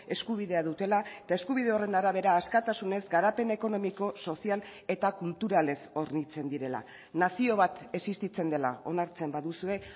eskubidea dutela eta eskubide horren arabera askatasunez garapen ekonomiko sozial eta kulturalez hornitzen direla nazio bat existitzen dela onartzen baduzue